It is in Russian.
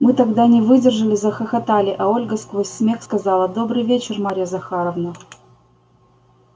мы тогда не выдержали захохотали а ольга сквозь смех сказала добрый вечер марья захаровна